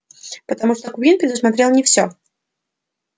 потому что куинн предусмотрел не всё